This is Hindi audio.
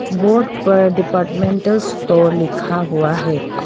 बोर्ड पर डिपार्टमेंटल स्टोर लिखा हुआ है।